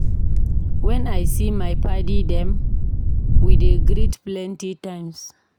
Wen I see my paddy dem, we dey greet plenty times.